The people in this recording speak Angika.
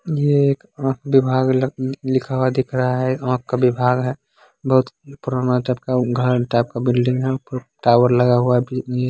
ये एक आँख विभाग ल- लिखा हुआ दिख रहा हैं। आँख का विभाग हैं। बहुत पुराना टाइप का घर टाइप का बिल्डिंग हैं पर टावर लगा हुआ हैं--